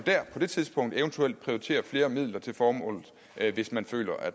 på det tidspunkt eventuelt prioritere flere midler til formålet hvis man føler at